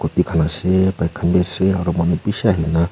di khan ase bike khan bi ase aro manu bishi ahina--